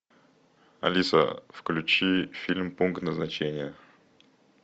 алиса включи фильм пункт назначения